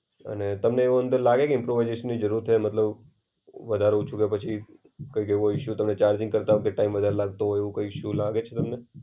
અને તમને એવું લાગે કે ઈમ્પ્રોવાઇઝેશન જરૂરત હોય મતલબ વધારે ઓછું કે પછી કોઈક એવો ઇશુ તમને ચાર્જિંગ કરતા ટાઈમ વાર લાગતું હોય એવો કોઈ ઇશુ લાગે છે?